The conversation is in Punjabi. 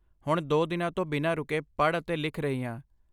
ਹੁਣ ਦੋ ਦਿਨਾਂ ਤੋਂ ਬਿਨਾਂ ਰੁਕੇ ਪੜ੍ਹ ਅਤੇ ਲਿਖ ਰਹੀ ਹਾਂ।